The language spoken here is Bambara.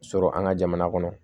Sɔrɔ an ka jamana kɔnɔ